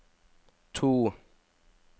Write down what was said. to